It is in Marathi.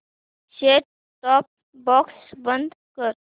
सेट टॉप बॉक्स बंद कर